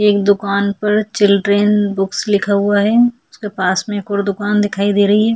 एक दुकान पर चिल्ड्रन बुक्स लिखा हुआ है उसके पास में एक और दुकान दिखाई दे रही है।